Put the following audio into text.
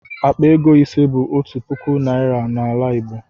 Akpa ego ise bụ otu puku naịra n'ala igbo